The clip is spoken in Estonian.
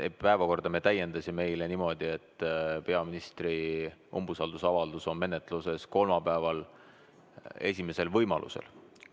Eile me täiendasime päevakorda niimoodi, et peaministri umbusaldamise avaldus on menetluses kolmapäeval esimesel võimalusel.